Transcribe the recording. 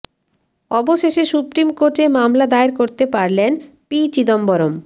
অবশেষে সুপ্রিম কোর্টে মামলা দায়ের করতে পারলেন পি চিদম্বরম